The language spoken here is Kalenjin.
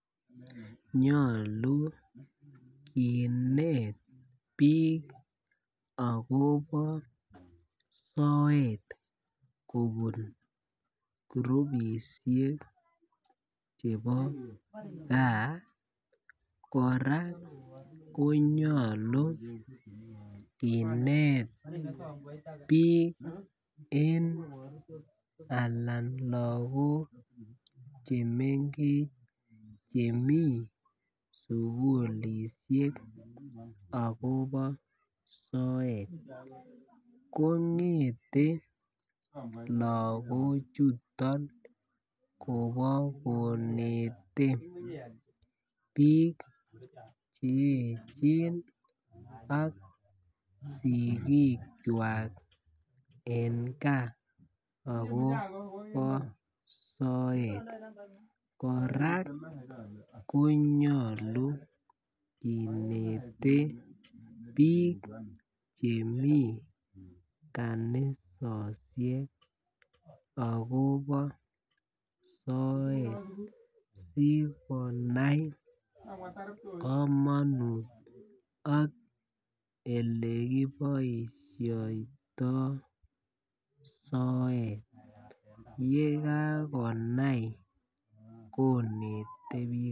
Nyolu kinet bik akobo soet kobun kurupishek chebo gaa. koraa konyolu kinet bik en anan lokok chemengech chemii sukulishek akobo soet kongeten lokok chuto Kobo konetech bik cheyechen ak sikik kwak en gaa akobo soet. Koraa konyolu kinete bik chemii kanisosiek akobo soet sikonai komonut ak olekiboishoito soet, yekakonai kinete bik.